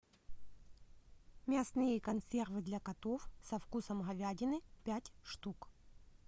мясные консервы для котов со вкусом говядины пять штук